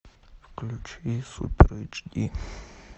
включи супер эйч ди